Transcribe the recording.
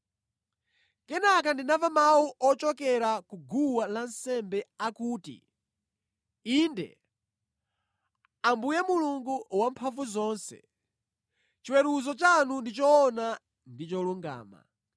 Kenaka ndinamva mawu ochokera ku guwa lansembe akuti, “Inde, Ambuye Mulungu Wamphamvuzonse, chiweruzo chanu ndi choona ndi cholungama.”